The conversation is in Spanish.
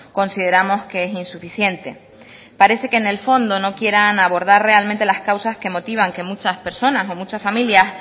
consideramos que es insuficiente parece que en el fondo no quieran abordar realmente las causas que motivan que muchas personas o muchas familias